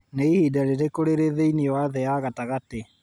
nĩ ihinda rĩrĩkũ rĩrĩ thĩinĩ wa thĩ ya gatagatĩ